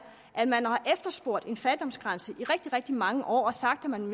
at man har efterspurgt en fattigdomsgrænse i rigtig rigtig mange år og sagt at man